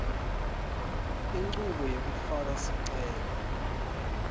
inchubo yekufaka sicelo